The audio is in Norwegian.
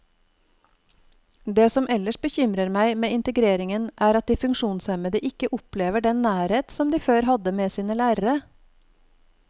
Det som ellers bekymrer meg med integrering er at de funksjonshemmede ikke opplever den nærhet som de før hadde med sin lærere.